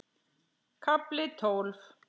KAFLI TÓLF